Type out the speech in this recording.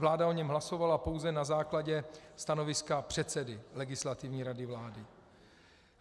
Vláda o něm hlasovala pouze na základě stanoviska předsedy Legislativní rady vlády.